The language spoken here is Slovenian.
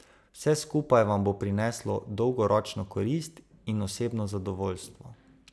Vse skupaj vam bo prineslo dolgoročno korist in osebno zadovoljstvo.